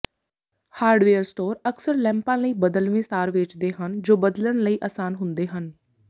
hardware store ਅਕਸਰ ਲੈਂਪਾਂ ਲਈ ਬਦਲਵੇਂ ਤਾਰ ਵੇਚਦੇ ਹਨ ਜੋ ਬਦਲਣ ਲਈ ਅਸਾਨ ਹੁੰਦੇ ਹਨ